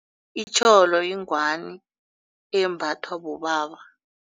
Itjholo yingwani embathwa bobaba.